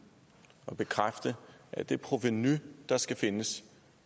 og bekræfte at det provenu der skal findes